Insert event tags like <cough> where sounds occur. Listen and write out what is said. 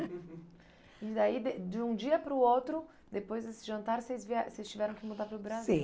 <laughs> E daí de de um dia para o outro, depois desse jantar vocês vié vocês tiveram que mudar para o Brasil?